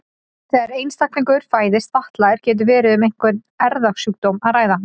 Þegar einstaklingur fæðist fatlaður getur verið um einhvern erfðasjúkdóm að ræða.